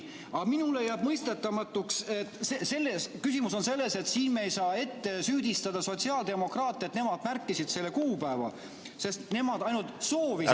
Aga minule jääb mõistetamatuks see küsimus, et siin me ei saa ette süüdistada sotsiaaldemokraate, et nemad märkisid selle kuupäeva, sest nemad ainult soovisid seda.